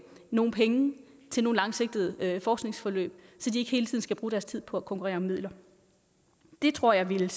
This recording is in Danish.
nogle penge til nogle langsigtede forskningsforløb så de ikke hele tiden skal bruge deres tid på at konkurrere om midler det tror jeg ville